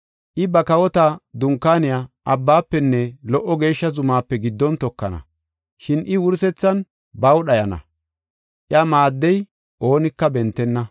I ba kawota dunkaaniya abbaafenne lo77o geeshsha zumaape giddon tokana. Shin I, wursethan baw dhayana; iya maaddiya oonika bentenna.”